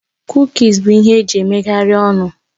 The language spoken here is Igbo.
Kukis bụ ihe eji emeghari ọnụ